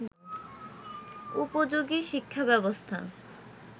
উপযোগী শিক্ষাব্যবস্থা